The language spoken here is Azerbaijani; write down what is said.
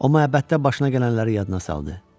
Amma əbəddə başına gələnləri yadına saldı.